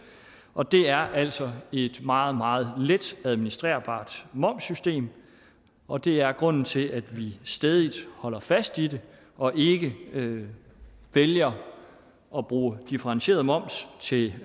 og det er altså et meget meget let administrerbart momssystem og det er grunden til at vi stædigt holder fast i det og ikke vælger at bruge differentieret moms til